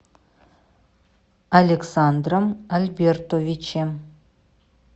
александром альбертовичем